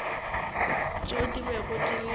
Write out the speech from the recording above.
tšeo di bego di le